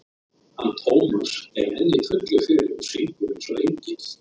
hann Tómas er enn í fullu fjöri og syngur eins og engill.